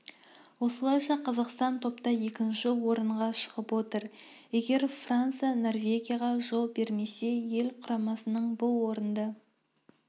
осылайша қазақстан топта екінші орынға шығып отыр егер франция норвегияға жол бермесе ел құрамасының бұл орынды